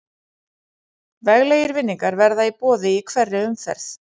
Veglegir vinningar verða í boði í hverri umferð.